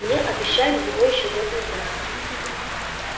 мне обещали его ещё год назад